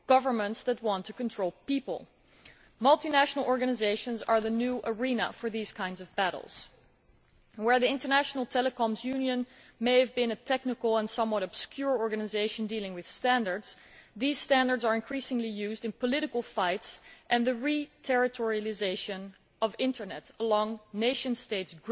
governments that want to control people. Multinational organisations are the new arena for battles of this kind. The International Telecommunications Union may have been a technical and somewhat obscure organisation dealing with standards, but these standards are increasingly being used in political fights and in the re territorialisation of the internet in the grip of nation states,